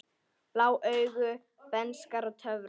Blá augu, bernska og töfrar